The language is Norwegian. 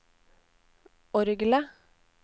orgelet